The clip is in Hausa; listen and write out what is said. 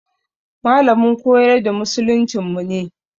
Malamin koyar da musuluncinmu ne.